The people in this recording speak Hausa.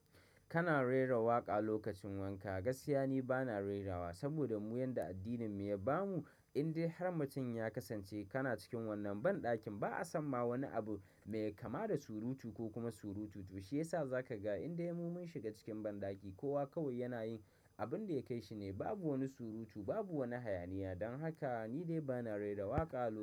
Kana rera waƙa lokacin wanka. Gaskiya ni bana rerawa saboda mu yadda addinin mu ya ba mu. Indai har mutum ya kasance kana cikin wannan ban ɗakin ba a san ma wani abu mai kama da surutu ko kuma surutu. To shi yasa za ka ga inde mu mun shiga cikin banɗaki kowa kawai yana yin abun da ya kai shi ne. Babu wani surutu, babu wani hayaniya. Don haka ni dai bana rera waƙa lokacin.